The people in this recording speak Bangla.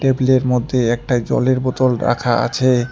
টেবিলের মধ্যে একটা জলের বোতল রাখা আছে।